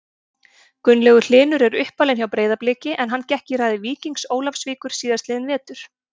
Gunnlaugur Hlynur er uppalinn hjá Breiðabliki en hann gekk í raðir Víkings Ólafsvíkur síðastliðinn vetur.